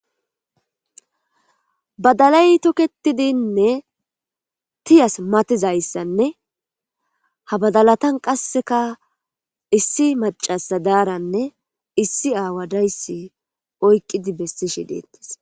Baddalay tokkittidi tiyas mattizayzassanne nam''u duma Asati iza xeellizayssa bessishe dees